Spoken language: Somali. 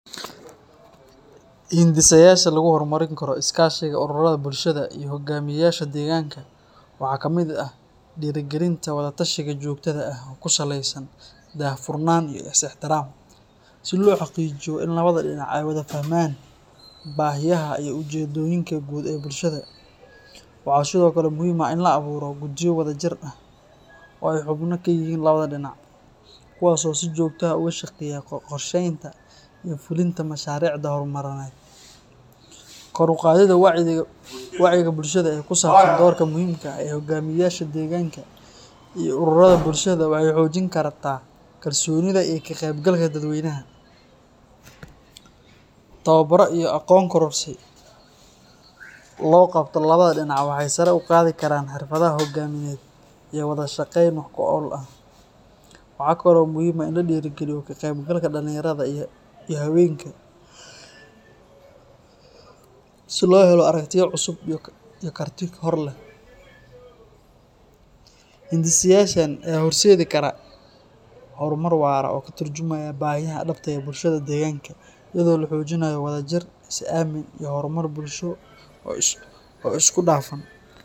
Hindisayaasha lagu horumarin karo iskaashiga ururrada bulshada iyo hoggaamiyeyaasha deegaanka waxaa ka mid ah dhiirrigelinta wada-tashiga joogtada ah oo ku saleysan daahfurnaan iyo ixtiraam, si loo xaqiijiyo in labada dhinac ay wada fahmaan baahiyaha iyo ujeeddooyinka guud ee bulshada. Waxaa sidoo kale muhiim ah in la abuuro guddiyo wadajir ah oo ay xubno ka yihiin labada dhinac, kuwaasoo si joogto ah uga shaqeeya qorsheynta iyo fulinta mashaariicda horumarineed. Kor u qaadidda wacyiga bulshada ee ku saabsan doorka muhiimka ah ee hoggaamiyeyaasha deegaanka iyo ururrada bulshada waxay xoojin kartaa kalsoonida iyo ka-qaybgalka dadweynaha. Tababarro iyo aqoon kororsi loo qabto labada dhinac waxay sare u qaadi karaan xirfadaha hoggaamineed iyo wada-shaqeyn wax ku ool ah. Waxaa kale oo muhiim ah in la dhiirrigeliyo ka-qaybgalka dhalinyarada iyo haweenka si loo helo aragtiyo cusub iyo karti hor leh. Hindisayaashan ayaa horseedi kara horumar waara oo ka tarjumaya baahiyaha dhabta ah ee bulshada deegaanka, iyadoo la xoojinayo wadajir, is-aamin iyo horumar bulsho oo isku dhafan.